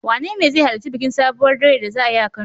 Wanene zai halarci bikin Sabuwar doyar da za a yi a Kano?